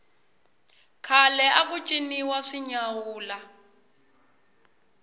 khale aku ciniwa swinyawula